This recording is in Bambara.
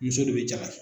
Muso de bɛ jaka